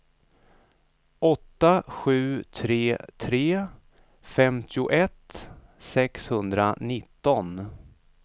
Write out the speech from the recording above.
åtta sju tre tre femtioett sexhundranitton